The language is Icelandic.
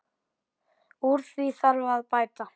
Úr því þarf að bæta.